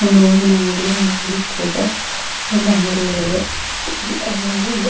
ಒಂದು ಹೂವಿನ ಅಂಗಡಿದೆ ಒಂದು ಮೆಡಿಕಲ್ ಇದೆ ಒಂದು ಅಂಗಡಿಗಳಿವೆ ಎಲ್ಲವು ಇವೆ.